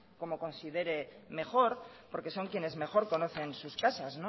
como considere mejor porque son quienes mejor conocen sus casas